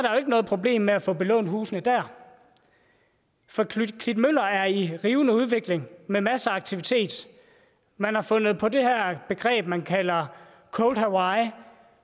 noget problem med at få belånt husene for klitmøller er i en rivende udvikling med masser af aktivitet man har fundet på det her begreb man kalder cold hawai